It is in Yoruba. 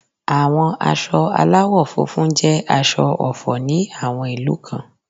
Àwọn aṣọ aláwò funfun jẹ́ aṣọ ọ̀fọ̀ ní àwọn ìlú kan